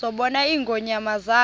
zabona ingonyama zaba